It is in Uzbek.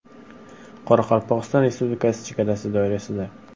Qoraqalpog‘iston Respublikasi chegarasi doirasida.